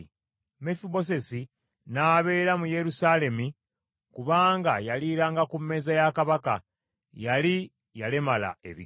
Mefibosesi n’abeera mu Yerusaalemi kubanga yaliiranga ku mmeeza ya kabaka. Yali yalemala ebigere.